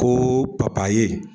Ko papaye.